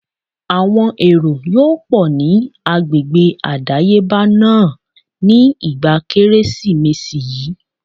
Àwọn èrò yóò pọ̀ ní agbègbè àdáyébá náà ní ìgbà Kérésìmesì yí.